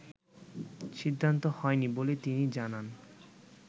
সিদ্ধান্ত হয়নি বলে তিনি জানান